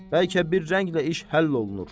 Bəlkə bir rənglə iş həll olunur.